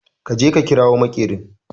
Ka je ka kirawo makerin